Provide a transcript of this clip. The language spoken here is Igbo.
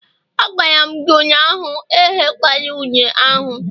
Agwara m gi ụnyahụ, ehekwala une ahu!